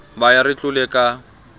ba ya re tlole ka